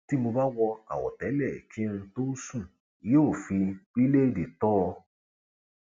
tí mo bá wo àwọtẹlẹ kí n tóó sùn yóò fi bíléèdì tò ó